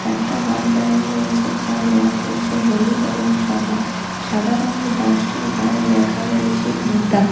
একটা বাস দাঁড়ানো রয়েছে যার রং হচ্ছে হলুদ এবং সাদা সাদা রংয়ের বাসটির গায়ে লেখা রয়েছে গীতা।